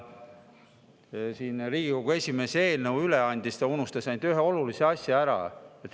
Kui Riigikogu esimees eelnõu üle andis, siis ta unustas ühe olulise asja ära.